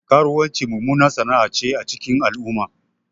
Karuwanci mummunar sana'ace a cikin al'umma